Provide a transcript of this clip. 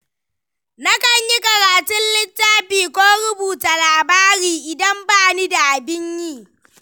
Nakan yi karatun littafi ko rubuta labari, idan bani da abin yi.